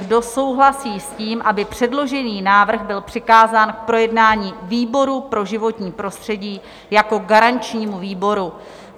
Kdo souhlasí s tím, aby předložený návrh byl přikázán k projednání výboru pro životní prostředí jako garančnímu výboru?